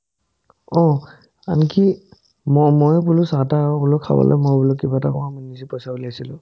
অহ্, আমি কি ম ময়ে বোলো চাহ-তাহ আৰু বোলো খাবলৈ মই বোলো কিবা এটা খোৱাম নিজে পইচা ওলাইছিলো